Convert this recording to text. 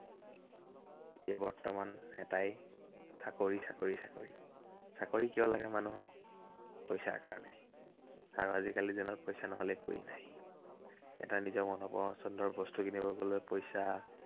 এতিয়া বৰ্তমান এটাই, চাকৰি চাকৰি চাকৰি। চাকৰি কিয় লাগে মানুহক। পইচাৰ কাৰনে। আৰু আজিকালি জীৱনত পইচা নহলে একোৱেই নাই। এটা নিজৰ মন পচন্দৰ বস্তু কিনিব গলেও পইচা